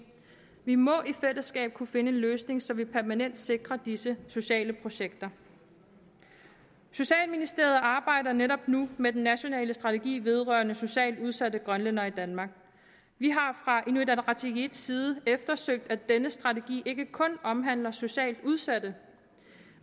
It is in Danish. vi må i fællesskab kunne finde en løsning så vi permanent sikrer disse sociale projekter socialministeriet arbejder netop nu med den nationale strategi vedrørende socialt udsatte grønlændere i danmark vi har fra inuit ataqatigiits side eftersøgt at denne strategi ikke kun omhandler socialt udsatte